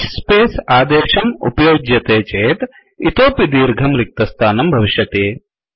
hspace ः space आदेशम् उपयुज्यते चेत् इतोऽपि दीर्घं रिक्तस्थानं भविष्यति